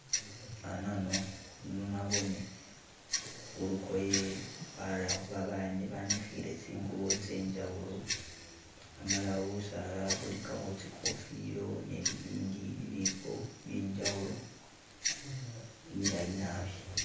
Anano naboone khulukoye barerekho bana banikhile tsingubo tse njawulo amala busaala bulikakho tsikofila ne bibindi ibiipo bye njawulo bilayi naabi.